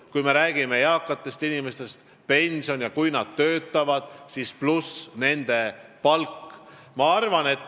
Kui me räägime eakatest inimestest, siis need kaks on seotud: pension pluss palk, kui nad töötavad.